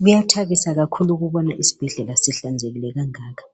Kuyathabisa kakhulu ukubona isibhedlela sihlanzekile kangaka